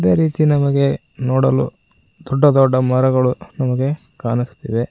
ಈ ರೀತಿ ನಮಗೆ ನೋಡಲು ದೊಡ್ಡ ದೊಡ್ಡ ಮರಗಳು ನಮಗೆ ಕಾಣುಸ್ತಿವೆ.